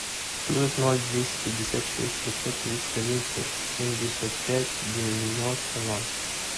плюс ноль двести пятьдесят шесть пятьсот тридцать один семьдесят пять девяносто ноль